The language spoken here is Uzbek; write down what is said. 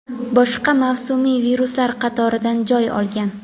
boshqa mavsumiy viruslar qatoridan joy olgan.